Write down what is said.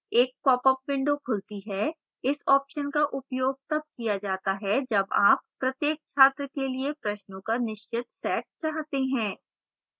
एक popअप window खुलती है इस option का उपयोग तब किया जाता है जब आप प्रत्येक छात्र के लिए प्रश्नों का निश्चित set चाहते हैं